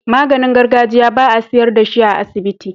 Maganin gargajiya ba a siyar dashi a asibiti